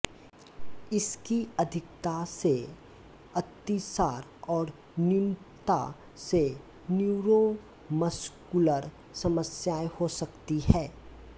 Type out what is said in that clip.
इसकी अधिकता से अतिसार और न्यूनता से न्यूरोमस्कुलर समस्याएं हो सकती है